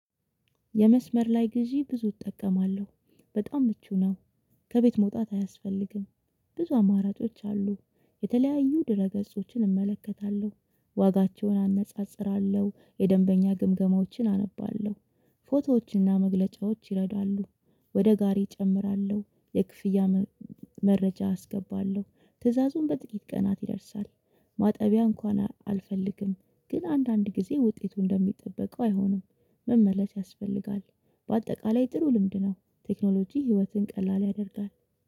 የመስመር ላይ ግዢ ብዙ እጠቀማለሁ በጣም ምቹ ነው። ከቤት መውጣት አያስፈልግም። ብዙ አማራጮች አሉ። የተለያዩ ድረ ገጾችን እመለከታለሁ ዋጋቸውን አነጻጽራለሁ የደንበኛ ግምገማዎችን አነባለሁ። ፎቶዎችንና መግለጫዎችን ይረዳሉ። ወደ ጋሪ እጨምራለሁ የክፍያ መረጃ አስገባለሁ ትዕዛዙም በጥቂት ቀናት ይደርሳል። ማጠቢያ እንኳን አልፈልግም። ግን አንዳንድ ጊዜ ውጤቱ እንደሚጠበቀው አይሆንም። መመለስ ያስፈልጋል። በአጠቃላይ ጥሩ ልምድ ነው። ቴክኖሎጂ ህይወትን ቀላል ያደርጋል